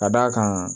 Ka d'a kan